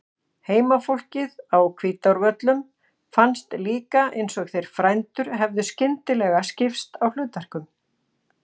Heimafólki á Hvítárvöllum fannst líka eins og þeir frændur hefðu skyndilega skipt á hlutverkum.